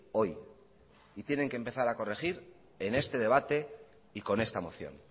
hoy y tienen que empezar a corregir en este debate y con esta moción